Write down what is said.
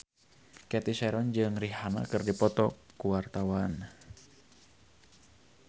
Cathy Sharon jeung Rihanna keur dipoto ku wartawan